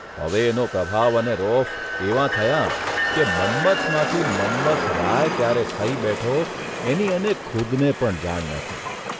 હવે એનો પ્રભાવ અને રોફ એવાં થયાં કે મન્મથમાંથી મન્મથરાય ક્યારે થઇ બેઠો એની એને ખુદને પણ જાણ ન થઇ !